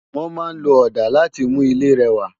Wòn má n ló òdá làtí mú ilé rèwá